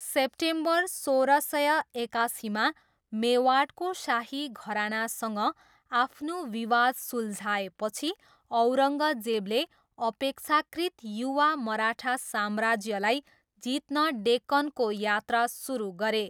September सोह्र सय एकासीमा, मेवाडको शाही घरानासँग आफ्नो विवाद सुलझाएपछि, औरङ्गजेबले अपेक्षाकृत युवा मराठा साम्राज्यलाई जित्न डेक्कनको यात्रा सुरु गरे।